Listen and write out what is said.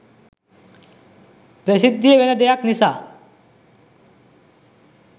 ප්‍රසිද්ධියෙ වෙන දෙයක් නිසා.